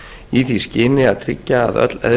í því skyni að tryggja að öll